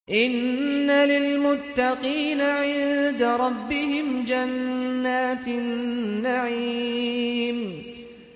إِنَّ لِلْمُتَّقِينَ عِندَ رَبِّهِمْ جَنَّاتِ النَّعِيمِ